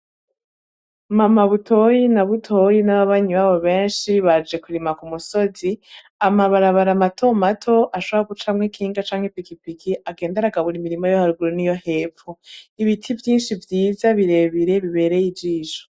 Ma mabutoyi na butoyi n'ababanyi babo benshi baje kurima ku musozi amabarabara amatomato ashara gucamwe kinga canke pikipiki agenda aragabura imirimo yo harguro niyo hepfu ibiti vyinshi vyiza birebire bibereye ijisho.